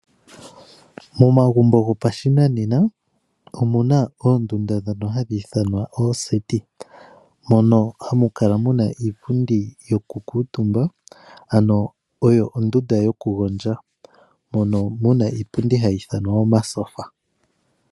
Momagumbo gopashinanena omuna oondunda ndhono hadhi ithanwa oseti mono hamu kala muna iipundi yoku kuutumba ano oyo ondunda yoku gondja, mono muna iipundi hayi ithanwa omatyofa.